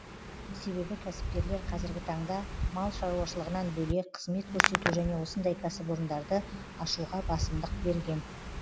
себебі кәсіпкерлер қазіргі таңда мал шаруашылығынан бөлек қызмет көрсету және осындай кәсіпорындарды ашуға басымдық берген